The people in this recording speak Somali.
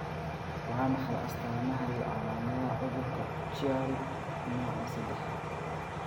Waa maxay astamaha iyo calaamadaha cudurka Chiari nooca sedax?